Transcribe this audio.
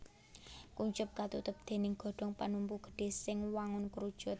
Kuncup katutup déning godhong panumpu gedhé sing wangun krucut